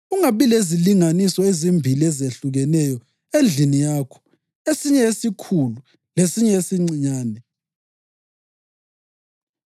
Ungabi lezilinganiso ezimbili ezehlukeneyo endlini yakho, esinye esikhulu lesinye esincinyane.